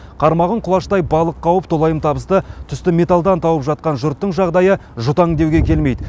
қармағын құлаштай балық қауып толайым табысты түсті металдан тауып жатқан жұрттың жағдайы жұтаң деуге келмейді